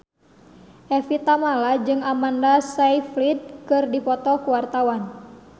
Evie Tamala jeung Amanda Sayfried keur dipoto ku wartawan